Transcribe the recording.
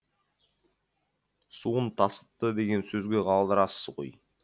суын тасытты деген сөзге қалдырасыз ғой